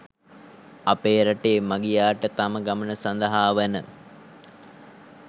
අපේ රටේ මගියාට තම ගමන සඳහා වන